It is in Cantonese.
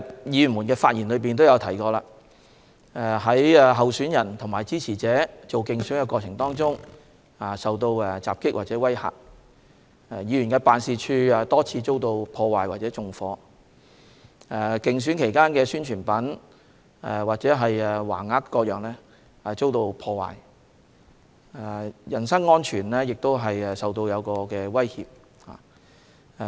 議員的發言也提到，有候選人及其支持者在進行競選活動時受到襲擊或威嚇、有議員辦事處多次遭到破壞或縱火、競選期間的宣傳品或橫額等遭到破壞，人身安全也受到威脅等。